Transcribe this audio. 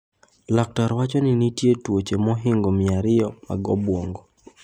Laktar wacho ni nitie tuoche mohingo mia ariyo mag obwongo.